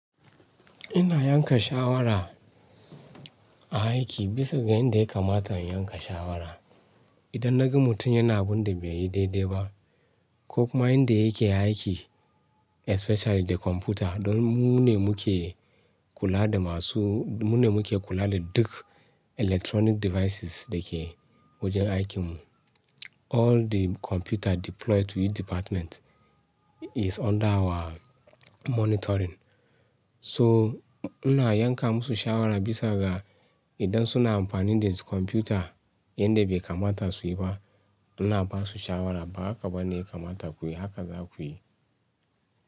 Ina yanka shawara a aiki bisa ga yanda ya kamata in yanka shawara. Idan na ga mutum yana abunda baiyi daidai ba ko kuma inda yake aiki especially da kwamfuta. Don mune muke kula da masu, mu ne muke kula da duk electronic devices dake wajen aikin mu. All the computer deployed to each department is under our monitoring. So ina yanka musu shawara bisa ga idan suna amfani da kwamfuta yanda bai kamata suyi ba. Ina basu shawara ba haka bane yakamata kuyi haka zakuyi.